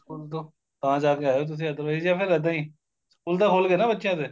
school ਤੋਂ ਤਾਂ ਜਾ ਕੇ ਆਏ ਓ ਤੁਸੀਂ otherwise ਜਾਂ ਫੇਰ ਇੱਦਾਂ ਈ ਸਕੂਲ ਤਾਂ ਖੁੱਲਗੇ ਨਾ ਬੱਚਿਆਂ ਦੇ